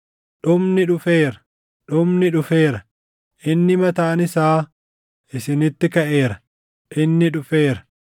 Dhumni dhufeera! Dhumni dhufeera! Inni mataan isaa isinitti kaʼeera. Inni dhufeera!